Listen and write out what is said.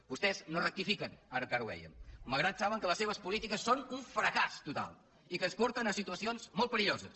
vostès no rectifiquen ara encara ho vèiem malgrat que saben que les seves polítiques són un fracàs total i que ens porten a situacions molt perilloses